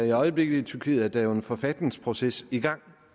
i øjeblikket i tyrkiet er en forfatningsproces i gang